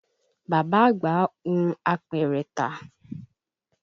Bàbá àgbà hun apẹ̀rẹ̀ tà